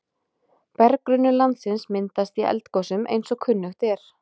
Berggrunnur landsins myndast í eldgosum eins og kunnugt er.